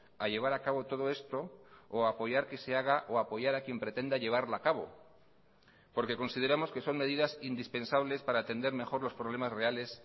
a llevar a cabo todo esto o apoyar que se haga o apoyar a quien pretenda llevarla a cabo porque consideramos que son medidas indispensables para atender mejor los problemas reales